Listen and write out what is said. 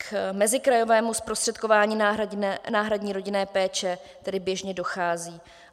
K mezikrajovému zprostředkování náhradní rodinné péče tedy běžně dochází.